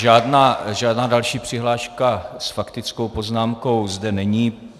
Žádná další přihláška s faktickou poznámkou zde není.